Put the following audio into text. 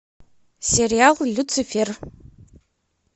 сериал люцифер